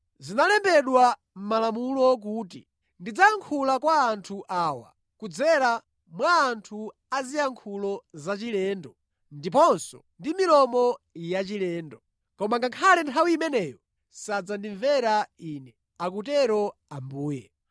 Zinalembedwa mʼMalamulo kuti, “Ndidzayankhula kwa anthu awa, kudzera mwa anthu aziyankhulo zachilendo ndiponso ndi milomo yachilendo. Koma ngakhale nthawi imeneyo sadzandimvera Ine, akutero Ambuye.”